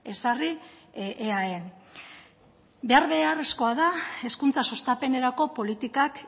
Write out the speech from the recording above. ezarri eaen behar beharrezkoa da hezkuntza sustapenerako politikak